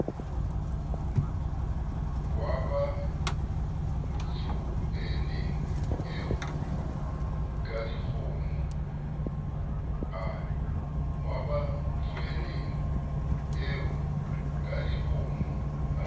wa batsoeneng eo kadikgomo a